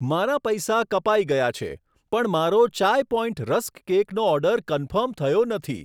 મારા પૈસા કપાઈ ગયા છે, પણ મારો ચાઈ પોઈન્ટ રસ્ક કેકનો ઓર્ડર કન્ફર્મ થયો નથી.